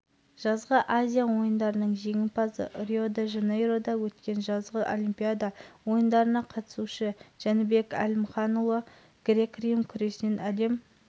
алауды алып жүретін спортшылар қатарында қазақстан республикасының бокстан халықаралық санаттағы спорт шебері азия және әлем чемпионы